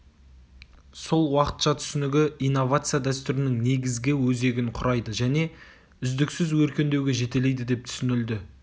сол уақытша түсінігі инновация дәстүрінің негізгі өзегін құрайды және үздіксіз өркендеуге жетелейді деп түсінілді